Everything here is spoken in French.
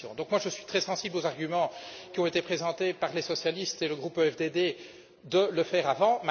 Moi, je suis très sensible aux arguments qui ont été présentés par les socialistes et le groupe EFDD en vue de le faire avant.